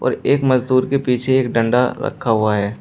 एक मजदूर के पीछे एक डंडा रखा हुआ है।